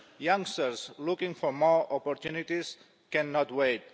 Youngsters looking for more opportunities cannot wait.